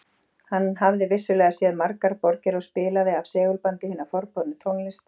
Hann hafði vissulega séð margar borgir og spilaði af segulbandi hina forboðnu tónlist